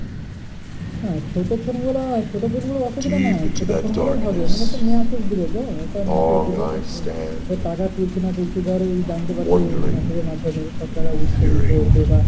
হ্যাঁ ছোট phone গুলো না ছোট phone গুলো অসুবিধা নয়। ছোট phone গুলো হলেই হবে। মানে তো message দেবে তো, একটা message দেবে যে টাকা তুলছে না তুলছে। ধর জানতে পারবে, message এর মাধ্যমে তোমার টাকা এদিক সেদিক হয়েছে,